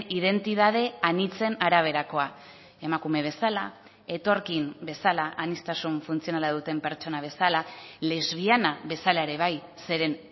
identitate anitzen araberakoa emakume bezala etorkin bezala aniztasun funtzionala duten pertsona bezala lesbiana bezala ere bai zeren